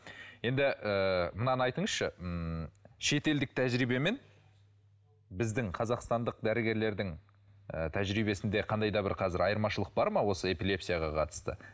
енді ы мынаны айтыңызшы ммм шетелдік тәжірибе мен біздің қазақстандық дәрігерлердің ы тәжірибесінде қандай да бір қазір айырмашылық бар ма осы эпилепсияға қатысты